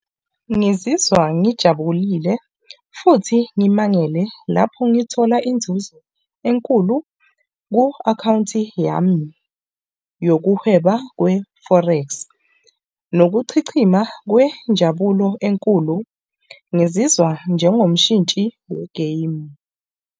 Ngizizwa ngijabulile futhi ngimangele lapho ngithola inzuzo enkulu ku-akhawunti yami yokuhweba kwe-Forex nokuchichima kwenjabulo enkulu. Ngizizwa njengomshintshi we-game.